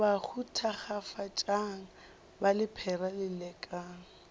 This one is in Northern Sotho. bahu thakgafatšang ba lephera lelekang